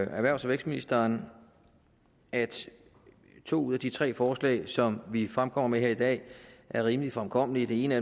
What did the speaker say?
erhvervs og vækstministeren at to ud af de tre forslag som vi fremkommer med her i dag er rimelig fremkommelige det ene af